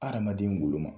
Adamaden golo ma